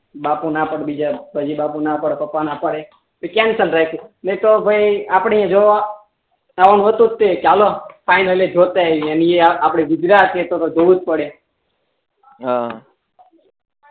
બાપુ નાં પાડી દે બીજા પછી બાપુ ના પડે પપ્પા નાં પાડે તો કેમ સમજ્યા એ તો ભાઈ આપડે જો આવું હતુ જ તે ચાલો ફાઈનલ જોતે આઈ એ ને એ તો આપડે ગુજરાત તો એ તો જોવું જ પડે હા